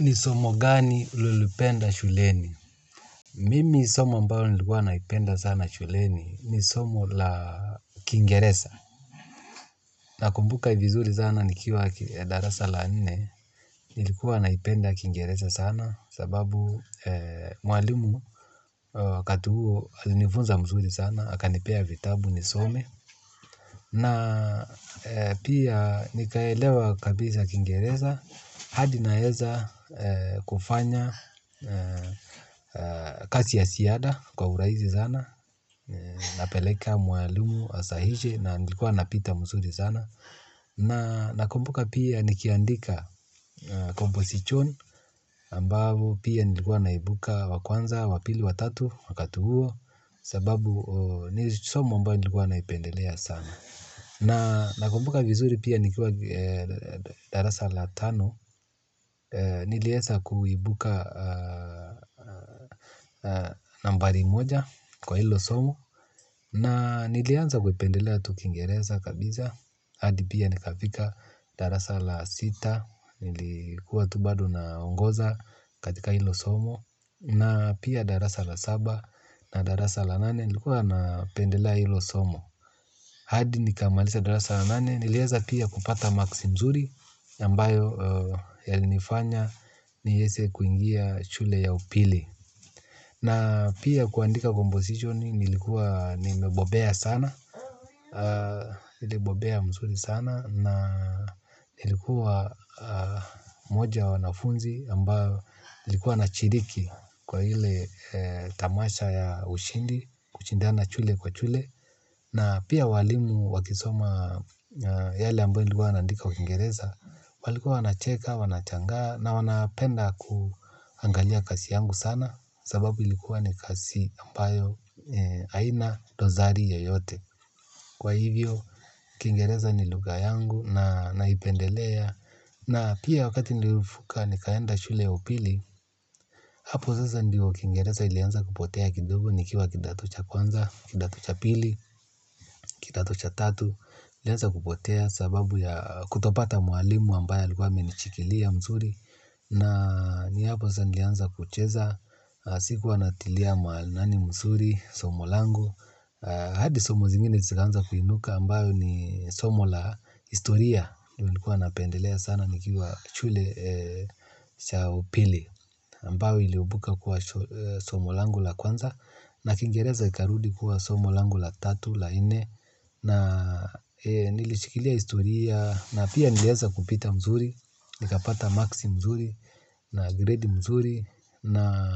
Nisomo gani ulolipenda shuleni? Mimi somo ambalo nilikuwa naipenda sana shuleni ni somo la kingereza. Nakumbuka vizuri sana nikiwa darasa la nne. Nilikuwa naipenda kingeresa sana. Sababu mwalimu wakati uo alinifunza mzuri sana. Hakanipea vitabu nisome. Na pia nikaelewa kabisa kingeresa. Hadi naeza kufanya kazi ya ziada kwa uraisi sana napeleka mwalumu asahishe na nilikuwa napita msuri zana na nakumbuka pia nikiandika composition ambavu pia nilikuwa naibuka wakwanza, wapili, watatu, wakati huo sababu ni somo ambalo nilikuwa naipendelea sana na nakumbuka vizuri pia nikuwa darasa la tano nilieza kuibuka nambari moja kwa hilo somo. Na nilianza kupendelea tu kiingereza kabisa hadi pia nikafika darasa la sita. Nilikuwa tu bado naongoza katika hilo somo na pia darasa la saba na darasa la nane, nilikuwa napendelea hilo somo. Hadi nikamaliza darasa la nane. Nilieza pia kupata marks nzuri ambayo yalinifanya niweze kuingia shule ya upili. Na pia kuandika composition nilikuwa nimebobea sana. Nilibobea mzuri sana. Na nilikuwa mmoja wa wanafunzi ambao nilikuwa nashiriki kwa ile tamasha ya ushindi kushindana shule kwa shule. Na pia walimu wakisoma yale ambayo nilikuwa naandika kwa kingereza. Walikuwa wanacheka, wanashangaa na wanapenda kuangalia kazi yangu sana sababu ilikuwa ni kazi ambayo haina dosari yoyote. Kwa hivyo, kiingereza ni lugha yangu na naipendelea na pia wakati nilivuka nikaenda shule ya upili. Hapo sasa ndio kiingereza ilianza kupotea kidogo nikiwa kidato cha kwanza, kidato cha pili, kidato cha tatu ilianza kupotea sababu ya kutopata mwalimu ambaye alikuwa amenishikilia mzuri, na ni hapo sasa nilianza kucheza. Sikuwa natilia maanani mzuri, somo langu. Hadi somo zingine zikaanza kuinuka ambayo ni somo la historia. Nilikuwa napendelea sana nikiwa shule cha upili. Ambayo iliibuka kuwa somo langu la kwanza, na kiingereza ikarudi kuwa somo langu la tatu la nne. Na nilishikilia historia na pia nilieza kupita mzuri. Nikapata marksi mzuri, na grade mzuri na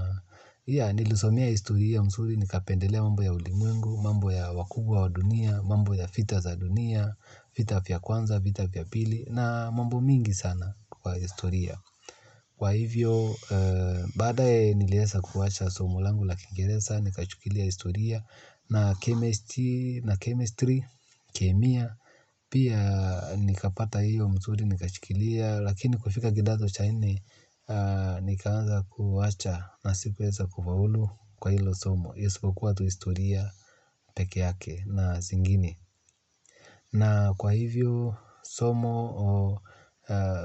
nilisomea historia mzuri nikapendelea mambo ya ulimwengu, mambo ya wakubwa wa dunia, mambo ya vita za dunia, vita vya kwanza, vita vya pili na mambo mingi sana kwa historia. Kwa hivyo, baadaye nilieza kuwacha somo langu la kiingereza nikashikilia historia na chemistry na chemistry, kemia pia nikapata hiyo mzuri, nikashikilia lakini kufika kidato cha nne nikaanza kuwacha na sikuweza kufaulu kwa hilo somo, isipokuwa tu historia peke yake na zingine. Na kwa hivyo somo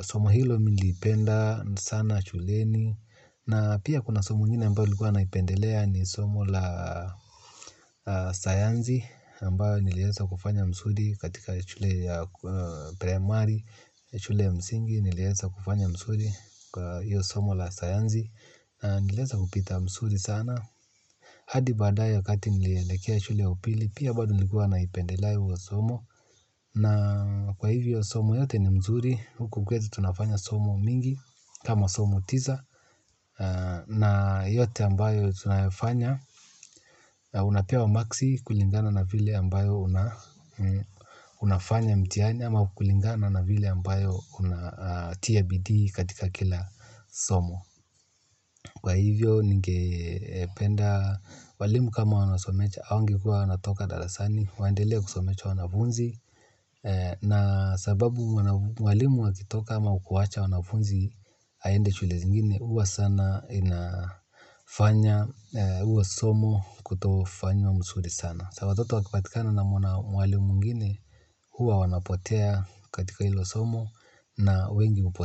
somo hilo nilipenda sana shuleni na pia kuna somo ingine ambayo ilikuwa naipendelea ni somo la sayansi ambayo nilieza kufanya mzuri katika shule ya primari, shule ya msingi nilieza kufanya mzuri kwa hiyo somo la sayansi, na nilieza kupita mzuri sana hadi baadaye wakati niliekea shule ya upili, pia bado nilikuwa naipendelea huo somo, na kwa hivyo somo yote ni mzuri huku kweli tunafanya somo mingi kama somo tisa na yote ambayo tunafanya unapewa marksi kulingana na vile ambayo unafanya mtihani ama kulingana na vile ambayo unatia bidii katika kila somo. Kwa hivyo ningependa walimu kama wanasomesha hawangekuwa wanatoka darasani, waendelee kusomesha wanafunzi na sababu walimu wakitoka ama kuwacha wanafunzi aende shule zingine huwa sana inafanya huo somo kutofanywa mzuri sana. Sa watoto wakipatikana na mwalimu mwingine huwa wanapotea katika hilo somo na wengi hupotea.